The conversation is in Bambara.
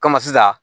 sisan